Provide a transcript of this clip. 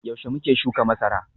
Yaushe muke shuka masara?